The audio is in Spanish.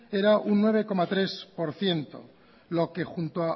era un nueve coma tres por ciento lo que junto